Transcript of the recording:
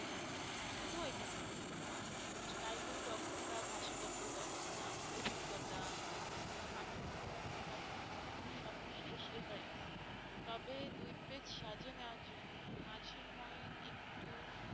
শুধু ওইটাই আর কারিগরি দক্ষতা ভাষাগত দক্ষতা অভিজ্ঞতা আহ পাঠ্যক্রম বহির্ভূত কার্যক্রম সবশেষ reference তবে দুই page সাজিয়ে নেওয়ার জন্য মাঝের points একটু,